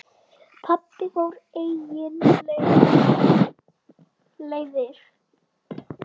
Pabbi fór eigin leiðir.